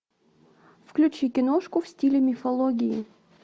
включи киношку в стиле мифологии